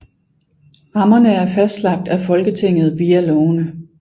Rammerne er fastlagt af Folketinget via lovene